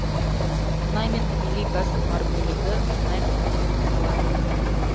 мұнай мен табиғи газ бар бөлігі мұнай қоры деп аталады